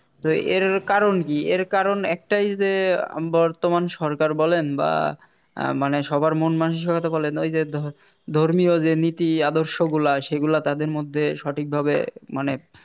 তো এর কারণ কি এর কারণ একটাই যে আহ বর্তমান সরকার বলেন বা মানে সবার মন মানসিকতা বলেন ঐযে ধ~ ধর্মীয় যে নীতি আদর্শগুলা সেগুলা তাদের মধ্যে সঠিকভাবে মানে